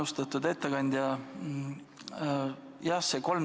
Austatud ettekandja!